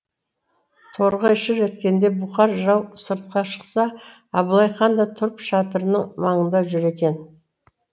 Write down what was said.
торғай шыр еткенде бұқар жырау сыртқа шықса абылай хан да тұрып шатырының маңында жүр екен